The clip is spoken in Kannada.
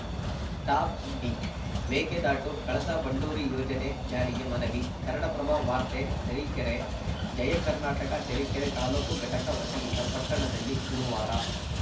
ಟಾಪ್‌ಸುದ್ದಿ ಮೇಕೆದಾಟು ಕಳಸಾ ಬಂಡೂರಿ ಯೋಜನೆ ಜಾರಿಗೆ ಮನವಿ ಕನ್ನಡಪ್ರಭ ವಾರ್ತೆ ತರೀಕೆರೆ ಜಯ ಕರ್ನಾಟಕ ತರೀಕೆರೆ ತಾಲೂಕು ಘಟಕ ವತಿಯಿಂದ ಪಟ್ಟಣದಲ್ಲಿ ಗುರುವಾರ